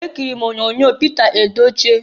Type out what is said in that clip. Ekiriri m onyoonyo Pịta Edochie.